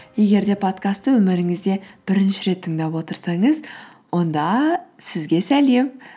егер де подкастты өміріңізде бірінші рет тыңдап отырсаңыз онда сізге сәлем